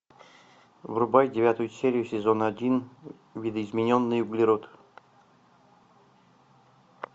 врубай девятую серию сезона один видоизмененный углерод